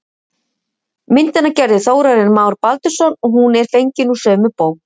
Myndina gerði Þórarinn Már Baldursson og hún er fengin úr sömu bók.